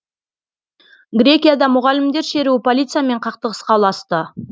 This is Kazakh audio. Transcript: грекияда мұғалімдер шеруі полициямен қақтығысқа ұласты